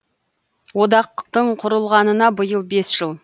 одақтың құрылғанына биыл бес жыл